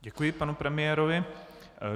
Děkuji panu premiérovi.